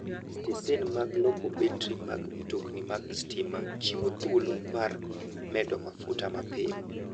Stesen mag loko betri mag mtokni mag stima chiwo thuolo mar medo mafuta mapiyo.